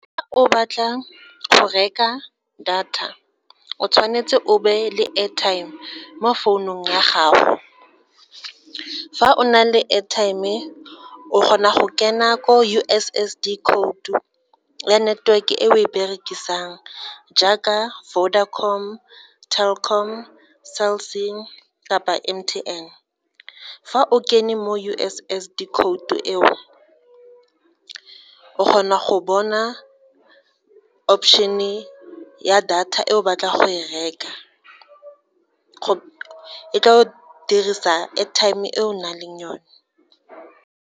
O batla go reka data, o tshwanetse o be le airtime mo founung ya gago. Fa o na le airtime o kgona go kena ko U_S_S_D code ya network e o e berekisang jaaka Vodacom, Telkom, Cell_C kapa M_T_N. Fa o kene mo U_S_S_D code eo, o kgona go bona option-e ya data e o batlang go e reka, ka go dirisa airtime e o nang le yone.